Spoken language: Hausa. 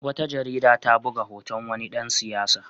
Wata jarida ta buga hoton wani dan siyasa.